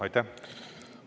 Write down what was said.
Aitäh!